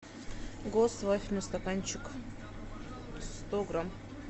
гост вафельный стаканчик сто грамм